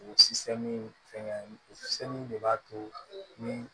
O fɛngɛn o de b'a to ni